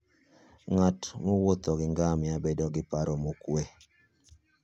Ng'at mowuotho gi ngamia bedo gi paro mokwe.